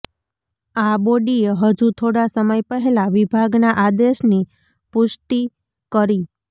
આ બોડીએ હજુ થોડા સમય પહેલા વિભાગના આદેશની પુષ્ટિ કરી